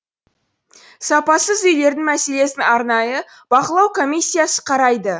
сапасыз үйлердің мәселесін арнайы бақылау комиссиясы қарайды